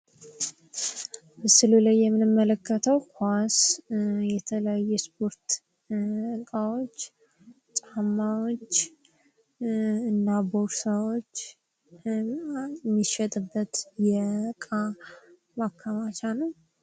ምስሉ ላይ የምንመለከተው ኳስ ፣ የተለያዩ የስፖርት እቃዎች ፣ ጫማወች እና ቦርሳዎች ፣ የሚሸጥበት የእቃ ማከማቻ ነው ::